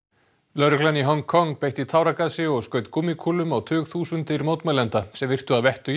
lögreglan í Hong Kong beitti táragasi og skaut gúmmíkúlum á tugþúsundir mótmælenda sem virtu að vettugi